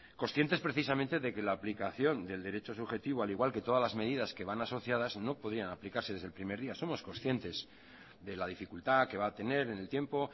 conscientes precisamente de que la aplicación del derecho subjetivo al igual que todas las medidas que van asociadas no podían aplicarse desde el primer día somos conscientes de la dificultad que va a tener en el tiempo